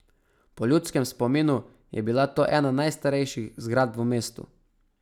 Po ljudskem spominu je bila to ena najstarejših zgradb v mestu.